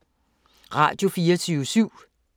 Radio24syv